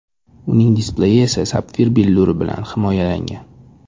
Uning displeyi esa sapfir billuri bilan himoyalangan.